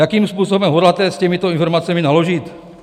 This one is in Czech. Jakým způsobem hodláte s těmito informacemi naložit?